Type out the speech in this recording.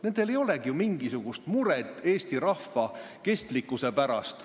Neil ei olegi mingisugust muret eesti rahva kestlikkuse pärast.